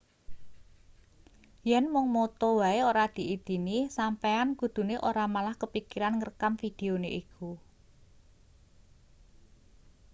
yen mung moto wae ora diidini sampeyan kudune ora malah kepikiran ngrekam videone iku